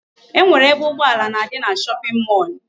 E nwere ebe ụgbọala na-adị na shopping mall.